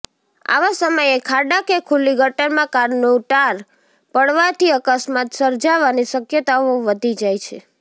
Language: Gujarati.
આવા સમયે ખાડા કે ખુલ્લી ગટરમાં કારનું ટાર પડવાથી અકસ્માત સર્જાવાની શક્યતાઓ વધી જાય છે